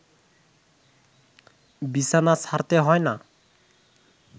বিছানা ছাড়তে হয় না